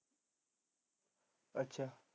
ਅੱਛਾ